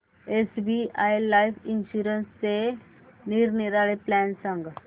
SBI life इन्शुरन्सचे निरनिराळे plan सांग